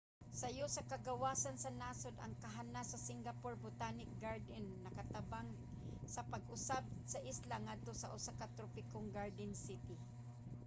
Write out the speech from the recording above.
sayo sa kagawasan sa nasod ang kahanas sa singapore botanic garden nakatabang sa pag-usab sa isla ngadto sa usa ka tropikong garden city